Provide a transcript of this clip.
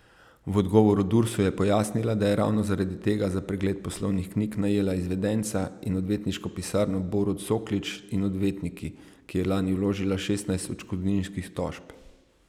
V odgovoru Dursu je pojasnila, da je ravno zaradi tega za pregled poslovnih knjig najela izvedenca in odvetniško pisarno Borut Soklič in odvetniki, ki je lani vložila šestnajst odškodninskih tožb.